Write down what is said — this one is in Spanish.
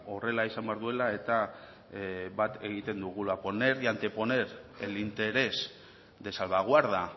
horrela izan behar duela eta bat egiten dugula poner y anteponer el interés de salvaguarda